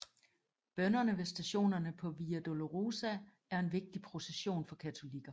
Bønnerne ved stationerne på Via Dolorosa er en vigtig procession for katolikker